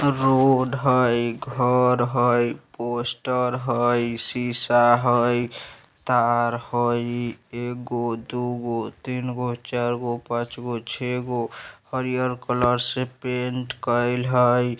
रोड हई घर हई पोस्टर हई शीशा हई तार हई एगो दुगो तीनगो चारगो पांचगो छेगो हरियर कलर से पैंट कइल है।